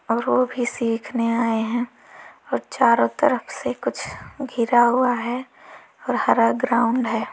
और वो भी सीखने आए हैं और चारों तरफ से कुछ घिरा हुआ है और हरा ग्राउंड है।